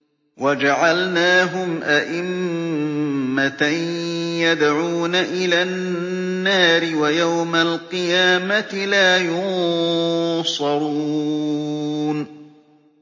وَجَعَلْنَاهُمْ أَئِمَّةً يَدْعُونَ إِلَى النَّارِ ۖ وَيَوْمَ الْقِيَامَةِ لَا يُنصَرُونَ